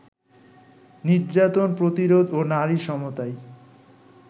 নির্যাতন প্রতিরোধ ও নারী সমতাই